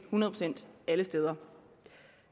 alle steder